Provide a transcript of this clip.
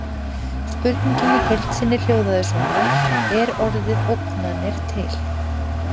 Spurningin í heild sinni hljóðaði svona: Er orðið ógnanir til?